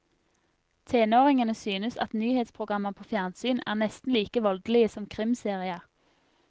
Tenåringene synes at nyhetsprogrammer på fjernsyn er nesten like voldelige som krimserier.